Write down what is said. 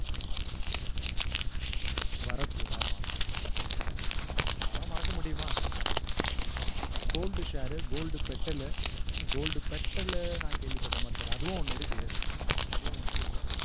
வரப்பு ஆமா அதெல்லாம் மறக்க முடியுமா gold share gold petal gold நான் கேள்விப்பட்ட மாதிரி தெரியல அதுவும் ஒன்னு இருக்கு yes அதுவும் ஒன்னு இருக்கு